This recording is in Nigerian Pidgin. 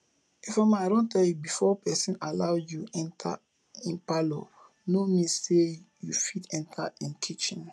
ifeoma i don tell you before person allow you enter im parlour no mean say you fit enter im kitchen